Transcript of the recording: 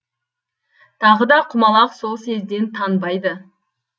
тағы да құмалақ сол сезден танбайды